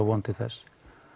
von til þess